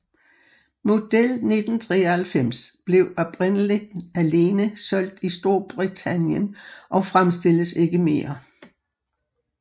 Model 1993 blev oprindeligt alene solgt i Storbritannien og fremstilles ikke mere